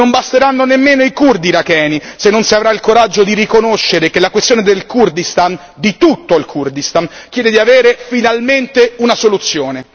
Non basteranno nemmeno i curdi iracheni se non si avrà il coraggio di riconoscere che la questione del Kurdistan, di tutto il Kurdistan, chiede di avere finalmente una soluzione.